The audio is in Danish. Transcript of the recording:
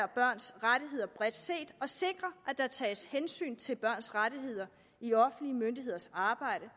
børns rettigheder bredt set og sikrer at der tages hensyn til børns rettigheder i offentlige myndigheders arbejde